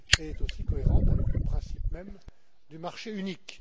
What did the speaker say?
Elle est aussi cohérente avec le principe même du marché unique.